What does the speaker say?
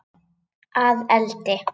Að eldi?